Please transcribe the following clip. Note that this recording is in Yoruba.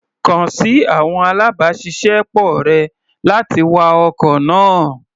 Kàn sí àwọn alábàáṣiṣẹ́ pọ̀ rẹ̀, láti wa ọkọ̀ náà.